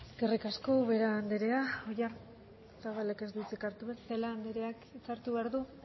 eskerrik asko ubera andrea oyarzabalek ez du hitzik hartuko celaá andreak hitza hartu behar du